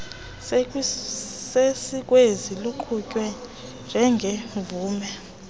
sesikweni luqukwe njengemvume